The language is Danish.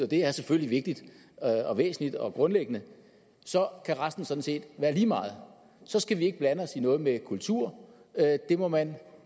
det er selvfølgelig vigtigt og væsentligt og grundlæggende så kan resten sådan set være lige meget så skal vi ikke blande os i noget med kultur det må man